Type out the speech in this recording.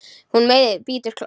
Hún meiðir, bítur og klórar.